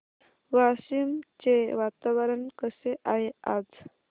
वाशिम चे वातावरण कसे आहे आज